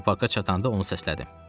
Zooparka çatanda onu səslədim.